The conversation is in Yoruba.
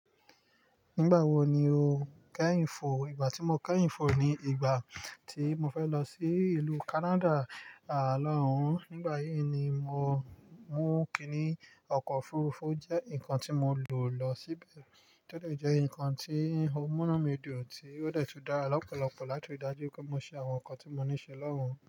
Nígbà wo ni o kẹ́hin fo? Ìgbà tí mo kẹ́hin fo ni ìgbà tí mo fẹ́ lọ sí ìlú Canada àlọ́hun. Nígbà yí ni mo mú kíní, ọkọ̀ òfurufú jẹ́ nǹkan tí mo lò lọ síbẹ̀, tó de jẹ́ ǹkan tí ó múnú mi dùn, tí ó de tun dá lọ́pọ̀lọpọ̀ láti ri dájú wipé mo ṣe àwọn ǹkan tí mo ní ṣe lọ́hun.